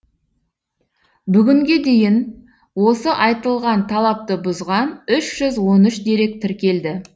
бүгінге дейін осы айтылған талапты бұзған үш жүз он үш дерек тіркелді